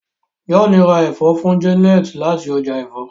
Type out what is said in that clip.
John rá èfó fún Janet láti ọjà èfó.